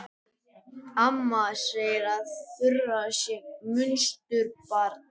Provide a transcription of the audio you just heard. Amma segir að Þura sé munsturbarn.